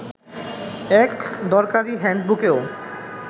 এক দরকারি হ্যান্ডবুকেও